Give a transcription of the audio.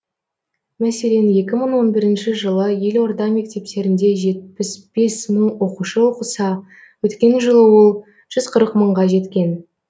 мәселен екі мың он бірінші жылы елорда мектептерінде жетпіс бес мың оқушы оқыса өткен жылы ол жүз қырық мыңға жеткен